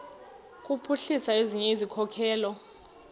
kuphuhlisa ezinye izikhokelo